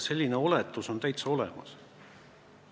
Selline oletus on täitsa olemas.